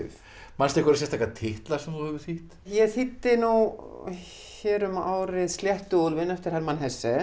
manstu einhverja sérstaka titla sem þú hefur þýtt ég þýddi nú hér um árið eftir Hermann